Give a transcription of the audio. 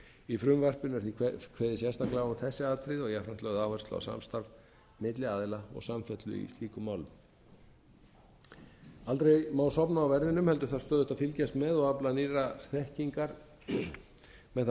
í frumvarpinu er því kveðið sérstaklega á um þessi atriði og jafnframt lögð áhersla á samstarf milli aðila og samfellu í slíkum málum aldrei má sofna á verðinum heldur þarf stöðugt að fylgjast með og afla nýrrar þekkingar með það að